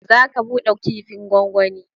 Zaka bude kifin gongoni.